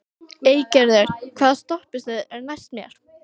Eygerður, hvaða stoppistöð er næst mér?